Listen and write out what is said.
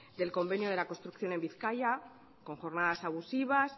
del convenio de la construcción en bizkaia con jornadas abusivas